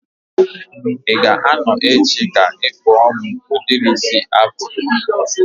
I ga a nọ echi ka ị kpụọ m udiri isi afro?